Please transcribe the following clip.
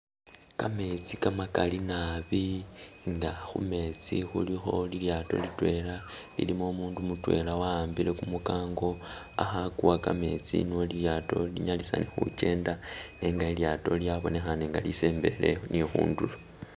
Kametsi kamakali nabi nga khumetsi khulikho lilyato litwela lilimo umundu mutwela wa'ambile kumu kango akha kuwa kametsi nuwo lilyato linyalisane khukyenda nenga lilyato lyabonekhane nga lisembele ni khundulo